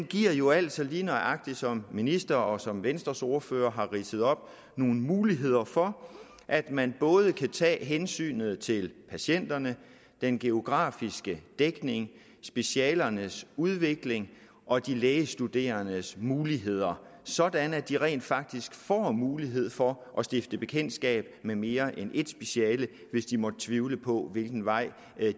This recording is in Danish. giver jo altså lige nøjagtig som ministeren og som venstres ordfører har ridset op nogle muligheder for at man både kan tage hensynet til patienterne den geografiske dækning specialernes udvikling og de lægestuderendes muligheder sådan at de rent faktisk får mulighed for at stifte bekendtskab med mere end et speciale hvis de måtte tvivle på hvilken vej